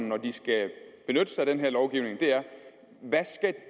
når de skal benytte sig af den her lovgivning er hvad